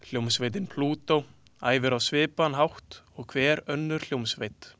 Hljómsveitin Plútó æfir á svipaðan hátt og hver önnur hljómsveit.